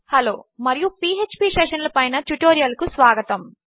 hello మరియు PHP session ల పైన ట్యుటోరియల్ కు స్వాగతము